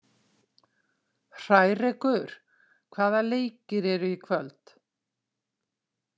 Hrærekur, hvaða leikir eru í kvöld?